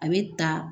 A bɛ ta